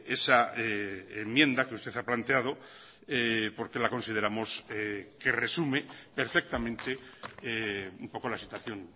esa enmienda que usted ha planteado porque la consideramos que resume perfectamente un poco la situación